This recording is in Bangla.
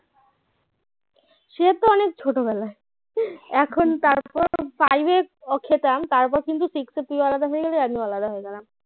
সে তো অনেক ছোটবেলায় এখন তার পর five এ খেতাম তারপর কিন্তু six এ তুইও আলাদা হয়ে গেলি আমিও আলাদা হয়ে গেলাম